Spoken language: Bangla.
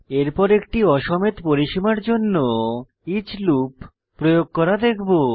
এরপর একটি অ সমেত পরিসীমার জন্য ইচ লুপ প্রয়োগ করা দেখব